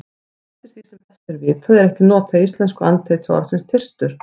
Eftir því sem best er vitað er ekki notað í íslensku andheiti orðsins þyrstur.